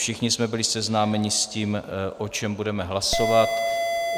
Všichni jsme byli seznámeni s tím, o čem budeme hlasovat.